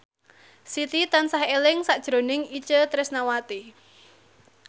Siti tansah eling sakjroning Itje Tresnawati